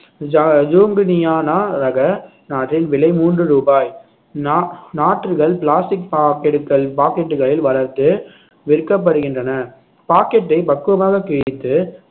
ஜ~ ஜூங்கனியானா ரக நாற்றின் விலை மூன்று ரூபாய் நா~ நாற்றுகள் plastic packet கள் packet களில் வளர்த்து விற்கப்படுகின்றன packet ஐ பக்குவமாக கிழித்து